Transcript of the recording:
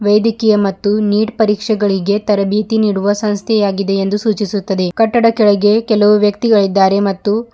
ವೇದಿಕಿಯ ಮತ್ತು ನೀಟ್ ಪರೀಕ್ಷೆಗಳಿಗೆ ತರಬೇತಿ ನೀಡುವ ಸಂಸ್ಥೆ ಆಗಿದೆ ಎಂದು ಸೂಚಿಸುತ್ತದೆ ಕಟ್ಟಡ ಕೆಳಗೆ ಕೆಲವು ವ್ಯಕ್ತಿಗಳಿದ್ದಾರೆ ಮತ್ತು --